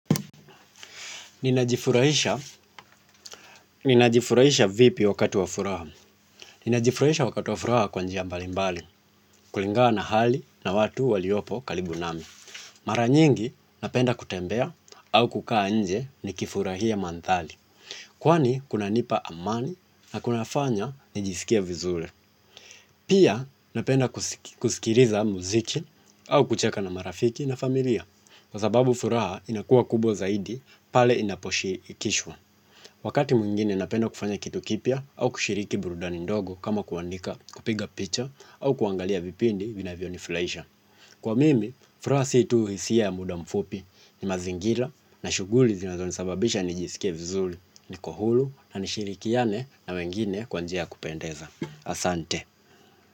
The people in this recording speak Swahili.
Ninajifurahisha vipi wakati wafuraha. Ninajifurahisha wakati wafuraha kwanjia mbalimbali, kulingana na hali na watu waliopo karibunami. Mara nyingi napenda kutembea au kukaa nje ni kifurahia mandhari. Kwani kunanipa amani na kunafanya nijisikie vizuri pia napenda kusikiliza muziki au kucheka na marafiki na familia, kwa sababu furaha inakuwa kubwa zaidi pale inaposhi ikishwa. Wakati mwingine napenda kufanya kitu kipya au kushiriki burudani ndogo kama kuandika kupiga picha au kuangalia vipindi vina vyonifurahisha. Kwa mimi, furaha situ hisia ya muda mfupi ni mazingira na shughuli zinazo nisababisha nijisikie vizuri ni kohuru na nishiriki ane na wengine kwanjiaya kupendeza. Asante.